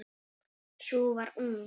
Sú var ung!